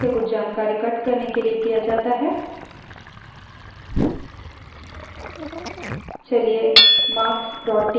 cut command का उपयोग एक file से कुछ जानकारी cut करने के लिए किया जाता है